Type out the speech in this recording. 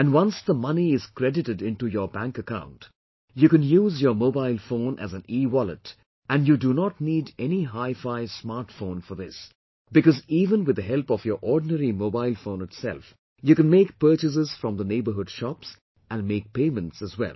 And, once the money is credited into your bank account, you can use your mobile phone as an ewallet and you do not need any hifi smart phone for this, because even with the help of your ordinary mobile phone itself you can make purchases from the neighbourhood shops and make payments as well